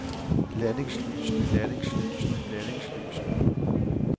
landingslysene landingslysene landingslysene